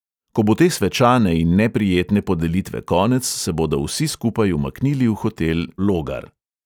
Ko bo te svečane in neprijetne podelitve konec, se bodo vsi skupaj umaknili v hotel logar.